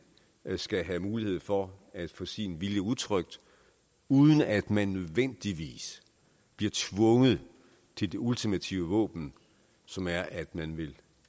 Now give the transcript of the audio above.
skal have mulighed for at få sin vilje udtrykt uden at man nødvendigvis bliver tvunget til det ultimative våben som er at man vil